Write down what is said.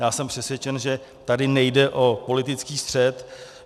Já jsem přesvědčen, že tady nejde o politický střet.